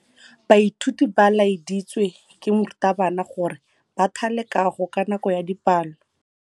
Baithuti ba laeditswe ke morutabana gore ba thale kagô ka nako ya dipalô.